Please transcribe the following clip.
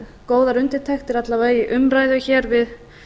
góðar undirtektir alla vega í umræðu hér við